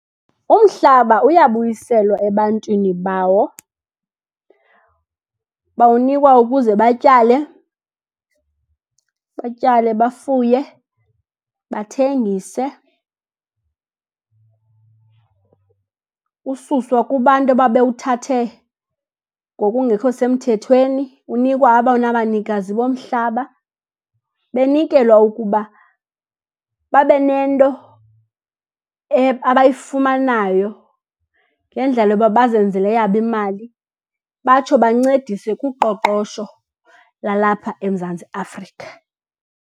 Umhlaba uyabuyiselwa ebantwini bawo. Bawunikwa ukuze batyale, batyale bafuye, bathengise. Ususwa kubantu ababewuthathe ngokungekho semthethweni, unikwa abona banikazi bomhlaba. Benikelwa ukuba babe nento abayifumanayo ngendlela yoba bazenzele eyabo imali, batsho bancedise kuqoqosho lalapha eMzantsi Afrika.